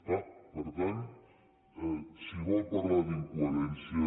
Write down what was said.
clar per tant si vol parlar d’incoherència